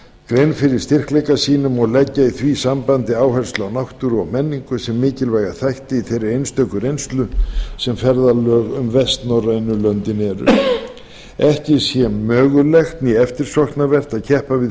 grein fyrir styrkleikum sínum og leggja í því sambandi áherslu á náttúru menningu og mat sem mikilvæga þætti í þeirri einstöku reynslu sem ferðalög um vestnorrænu löndin getur verið ekki sé mögulegt né eftirsóknarvert að keppa við